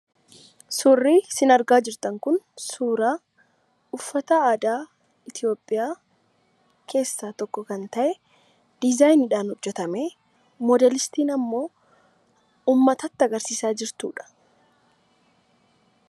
Suurri isin argaa jirtan kun suuraa uffata aadaa Itoophiyaa keessaa tokko kan ta'e diizaayiniidhaan hojjatamee moodeelistiin ammoo uummatatti agarsiisaa jirtudha.